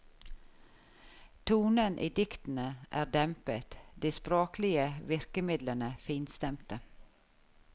Tonen i diktene er dempet, de språklige virkemidlene finstemte.